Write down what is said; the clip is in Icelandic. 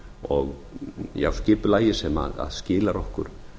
og já skipulagi sem skilar okkur